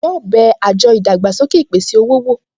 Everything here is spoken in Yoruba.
Ǹjẹ́ o bẹ àjọ ìdàgbàsókè ìpèsè-owó wò?